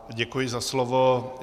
Děkuji za slovo.